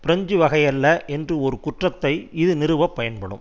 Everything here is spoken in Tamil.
பிரெஞ்சு வகையல்ல என்று ஒரு குற்றத்தை இது நிறுவப் பயன்படும்